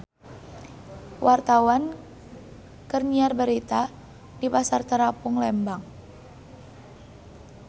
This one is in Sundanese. Wartawan keur nyiar berita di Pasar Terapung Lembang